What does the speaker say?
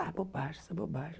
Ah, bobagem isso é bobagem.